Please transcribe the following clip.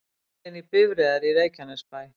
Farið inn í bifreiðar í Reykjanesbæ